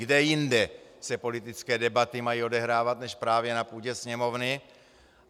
Kde jinde se politické debaty mají odehrávat než právě na půdě Sněmovny?